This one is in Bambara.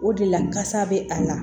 O de la kasa bɛ a la